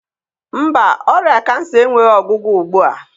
Mba, ọrịa kansa enweghị ọgwụgwọ ugbu a.